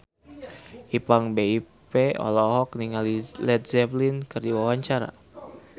Ipank BIP olohok ningali Led Zeppelin keur diwawancara